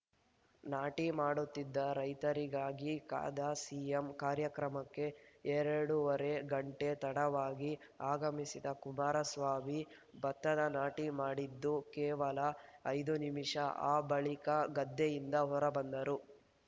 ನಾಟಿ ಮಾಡುತ್ತಿದ್ದ ರೈತರಿಗಾಗಿ ಕಾದ ಸಿಎಂ ಕಾರ್ಯಕ್ರಮಕ್ಕೆ ಎರಡೂವರೆ ಗಂಟೆ ತಡವಾಗಿ ಆಗಮಿಸಿದ ಕುಮಾರಸ್ವಾಮಿ ಭತ್ತದ ನಾಟಿ ಮಾಡಿದ್ದು ಕೇವಲ ಐದು ನಿಮಿಷ ಆ ಬಳಿಕ ಗದ್ದೆಯಿಂದ ಹೊರಬಂದರು